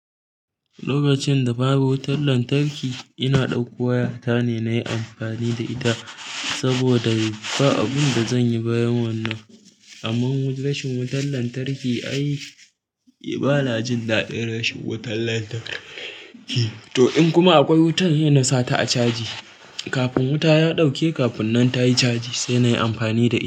Lokacin da babu wutan lantarki, ina ɗauko waya ta ne na yi amfani da ita saboda mi, ba abin da zanyi bayan wannan. Amma rashin wutar lantarki ai ba na jin daɗin rashin wutar lantar ki. To in kuma akwai wutan, sai na sa ta a caji. Kafin wuta ya ɗauke, kafin nan tayi caji sai nayi amfani da i.